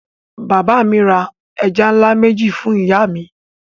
Bàbá mi ra ẹja ńlá méjì fún ìyá mi.